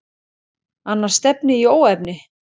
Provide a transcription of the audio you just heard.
Annars stefni í óefni.